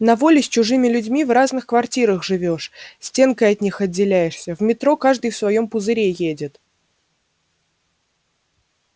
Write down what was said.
на воле с чужими людьми в разных квартирах живёшь стенкой от них отделяешься в метро каждый в своём пузыре едет